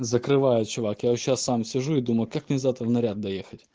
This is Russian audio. закрываю чувак я вот сейчас сам сижу и думаю как мне завтра в наряд доехать